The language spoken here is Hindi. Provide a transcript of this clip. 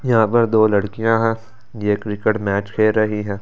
यहां पर दो लड़कियां हैं ये क्रिकेट मैच खेल रही है।